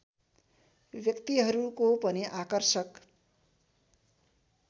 व्यक्तिहरूको पनि आकर्षक